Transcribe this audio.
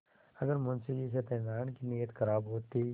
अगर मुंशी सत्यनाराण की नीयत खराब होती